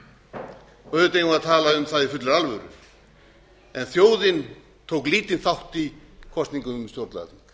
auðvitað eigum við að tala um það í fullri alvöru en þjóðin tók lítinn þátt í kosningu um stjórnlagaþing